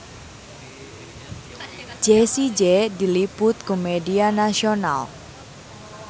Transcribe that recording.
Jessie J diliput ku media nasional